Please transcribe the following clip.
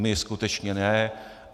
My skutečně ne.